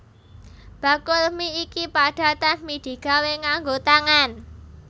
Bakul mi iki padatan mi digawé nganggo tangan